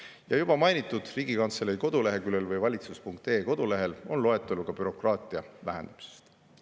Ja juba mainitud valitsus.ee kodulehel või Riigikantselei koduleheküljel on ka loetelu bürokraatia vähendamisest.